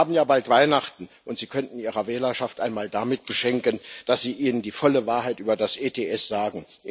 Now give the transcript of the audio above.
Wir haben ja bald Weihnachten, und Sie könnten Ihre Wählerschaft einmal damit beschenken, dass Sie ihnen die volle Wahrheit über das ETS sagen.